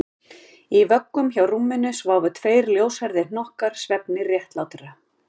Í vöggum hjá rúminu sváfu tveir ljóshærðir hnokkar svefni réttlátra